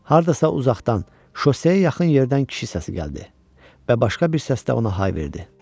Hardasa uzaqdan, şosseyə yaxın yerdən kişi səsi gəldi və başqa bir səsdə ona hay verdi.